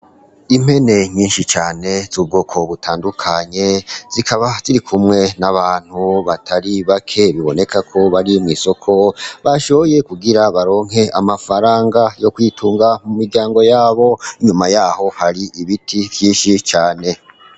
Impene nyinshi cane z'ubwoko butandukanye, zikaba ziri kumwe n'abantu batari bake. Biboneka ko bari mw'isoko, bashoye kugira baronke amafaranga yo kwitunga mu miryango yabo, inyuma yaho hari ibiti vyinshi cane.